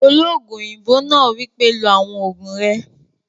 Olóògùn òyìnbó náà wípé, "lo àwọn ògùn rẹ!"